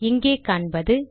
இங்கே காண்பது